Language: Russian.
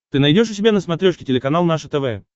ты найдешь у себя на смотрешке телеканал наше тв